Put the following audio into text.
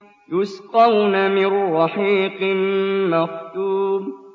يُسْقَوْنَ مِن رَّحِيقٍ مَّخْتُومٍ